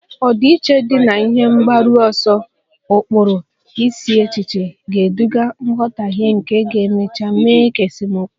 Ọdịiche dị na ihe mgbaru ọsọ, ụkpụrụ, isi echiche ga-eduga nghọtahie nke ga-emecha mee ka esemokwu